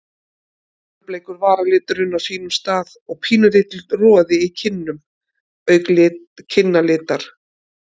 Fölbleikur varaliturinn á sínum stað og pínulítill roði í kinnum auk kinnalitar.